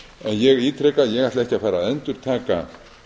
ég ítreka ég ætla ekki að fara að endurtaka